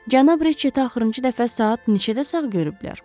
Cənab Reçeti axırıncı dəfə saat neçədə sağ görüblər?